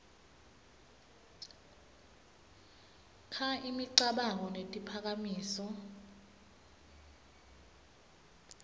kha imicabango netiphakamiso